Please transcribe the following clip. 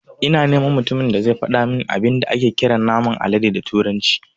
Ina neman mutumin da zai fadamin abin da ake kiran naman alade da turanci